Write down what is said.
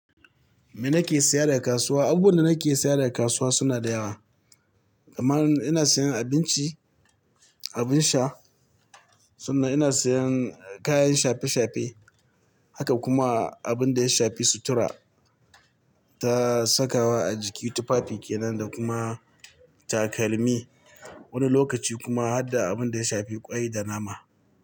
Me nake saya daga kasuwa? Abubuwan da nake saya daga kasuwa suna da yawa. Kamar ina sayan abinci, abin sha sannan ina sayan kayan shafe-shafe haka kuma abin da ya shafi sutura ta sakawa a jiki tufafi kenan da kuma takalmi. Wani lokaci kuma har da abin da ya shafi ƙwai da nama.